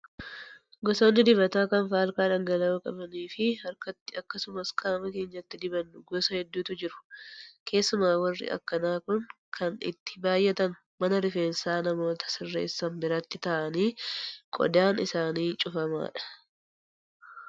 Gosoonni dibataa kan faalkaa dhangala'oo qabanii fi harkatti akkasumas qaama keenyatti dibannu gosa hedduutu jiru. Keessumaa warri akkanaa kun kan itti baay'atan mana rifeensaa namoota sirreessan biratti ta'anii qodaan isaanii cufamaadha.